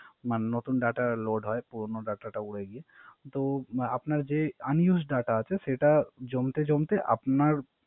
মানে নতুন Data load পুরাতন Data উরে গিয়ে। তো আপনার Unused data আছে সেটা জমতে জমতে আপনার